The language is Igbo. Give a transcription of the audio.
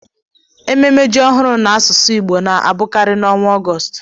Ememe ji ọhụrụ n'asụsụ Igbo na-abụkarị n'ọnwa Ọgọst